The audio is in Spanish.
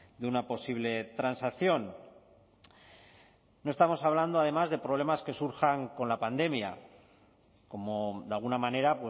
de una posible transacción no estamos hablando además de problemas que surjan con la pandemia como de alguna manera